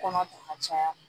Kɔnɔ ta ka caya